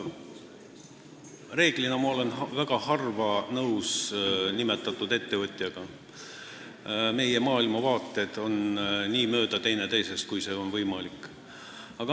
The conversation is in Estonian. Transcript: Reeglina ma olen nimetatud ettevõtjaga väga harva nõus: meie maailmavaated on teineteisest nii mööda, kui see võimalik on.